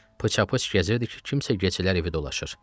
Pıça-pıç gəzirdi ki, kimsə gecələr evi dolaşır.